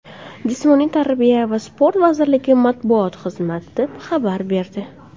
Jismoniy tarbiya va sport vazirligi matbuot xizmati xabar berdi.